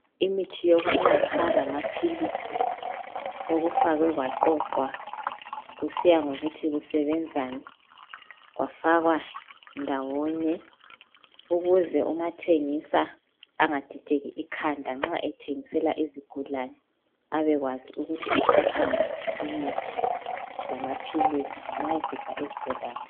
Imithi yokunatha lamaphilisi sokufakwe kwaqoqwa kusiya ngokuthi kusebenzani kwafakwa ndawonye ukuze umathengisa angadideki ikhanda nxa ethengisela izigulane abe kwazi ukuthi uthatha ngaphi imuthi lamaphilisi nxa esipha izigulane.